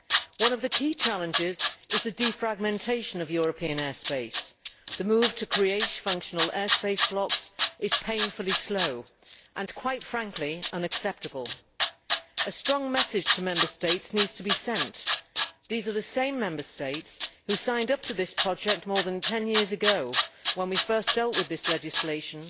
One of the key challenges is the defragmentation of European air space. The move to create functional air space blocks is painfully slow and, quite frankly, unacceptable. A strong message needs to be sent to the Member States. They are the same Member States that signed up to this project more than ten years ago, when we first dealt with this legislation